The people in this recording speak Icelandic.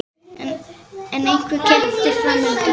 Er einhver keppni fram undan?